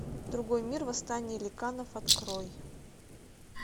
другой мир восстание ликанов открой